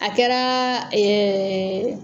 A kɛraa